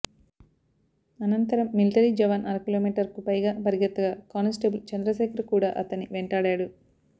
అనంతరం మిలటరీ జవాన్ అరకిలోమీటర్కు పైగా పరుగెత్తగా కానిస్టేబుల్ చంద్రశేఖర్ కూడా అతన్ని వెంటాడాడు